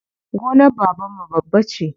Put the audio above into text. Gonar babanmu babba ce.